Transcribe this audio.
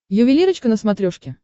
ювелирочка на смотрешке